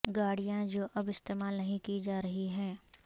گاڑیاں جو اب استعمال نہیں کی جا رہی ہیں